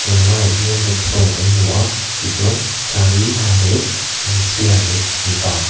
la laiah hian rickshaw kan hmu a tichuan saree ha leh hmeichhia leh mipa.